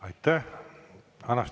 Aitäh!